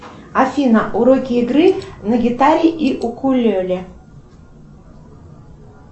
афина уроки игры на гитаре и укулеле